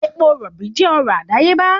Epo rọ̀bì jẹ́ ọrọ̀ àdáyébá